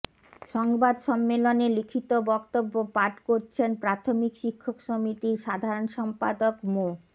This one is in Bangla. সংবাদ সম্মেলনে লিখিত বক্তব্য পাঠ করছেন প্রাথমিক শিক্ষক সমিতির সাধারণ সম্পাদক মো